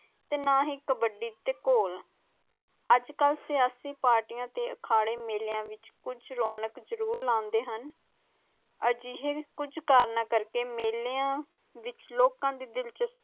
ਤੇ ਨਾ ਹੀ ਕੱਬਧੀ ਤੇ ਢੋਲ, ਅਜਕਲ ਤੇ ਆਖਦੇ ਮੇਲਿਆਂ ਵਿਚ ਕੁਜ ਰੌਣਕ ਜਰੂਰ ਲੈਂਦੇ ਹਨ ਅਜੇ ਹੀ ਕੁਜ ਕਰਨਾ ਕਾਕਰ ਮੇਲਿਆਂ ਵਿਚ ਲੋਖਾਂ ਦੀ ਦਿਲਚਸਪੀ